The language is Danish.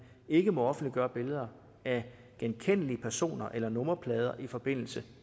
ikke må offentliggøre billeder af genkendelige personer eller nummerplader i forbindelse